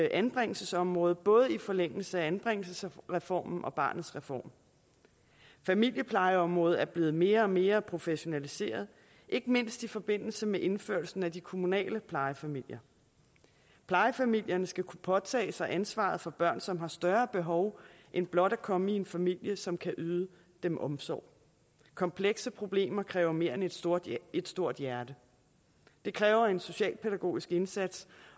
anbringelsesområdet både i forlængelse af anbringelsesreformen og barnets reform familieplejeområdet er blevet mere og mere professionaliseret ikke mindst i forbindelse med indførelsen af de kommunale plejefamilier plejefamilierne skal kunne påtage sig ansvaret for børn som har større behov end blot at komme i en familie som kan yde dem omsorg komplekse problemer kræver mere end et stort et stort hjerte det kræver en socialpædagogisk indsats